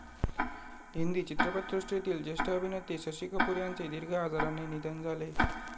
हिंदी चित्रपटसृष्टीतील जेष्ठ अभिनेते शशी कपूर यांचे दिर्घ आजाराने निधन झाले.